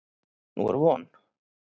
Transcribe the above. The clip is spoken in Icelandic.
Nú er von.